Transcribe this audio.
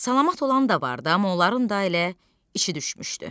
Salamat olan da var da, amma onların da elə işi düşmüşdü.